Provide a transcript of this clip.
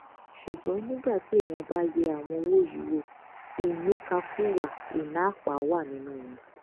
ṣùgbọn nígbà tí èèyàn bá yẹ àwọn owó yìí wò ìníkàkuwà ìná àpà wà nínú wọn